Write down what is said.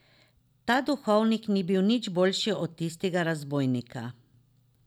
Ta duhovnik ni bil nič boljši od tistega razbojnika.